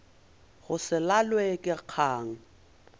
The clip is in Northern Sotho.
go se lalwe ke kgang